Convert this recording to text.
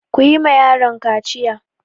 Ku yi ma yaron kaciya!